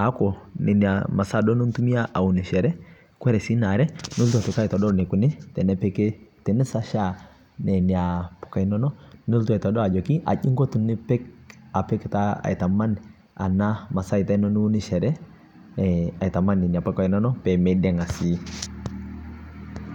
aaku nenia maasa nitumia aunushoree. Kore sii ne aare nilotuu aitokii aitodool te nepiik tenesashaa nenia mbukai enono, nilotuu aitodool ajii inkoo tinipiik apiik taa aitamaan ana maasaita niunushoree ee aitamaan nenia mbukaii enono pee meiding'aa sii.